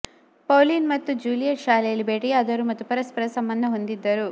Pauline ಮತ್ತು Juliet ಶಾಲೆಯಲ್ಲಿ ಭೇಟಿಯಾದರು ಮತ್ತು ಪರಸ್ಪರ ಸಂಬಂಧ ಹೊಂದಿದ್ದರು